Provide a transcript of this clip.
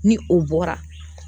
Ni o bɔra